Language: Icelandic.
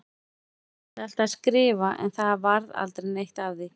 Ég ætlaði alltaf að skrifa en það varð aldrei neitt af því.